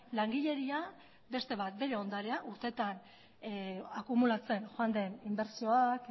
langileria beste bat bere ondarea urteetan akumulatzen joan den inbertsioak